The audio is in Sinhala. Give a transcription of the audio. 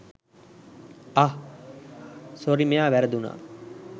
අහ් සොරි මෙයා වැරදුනා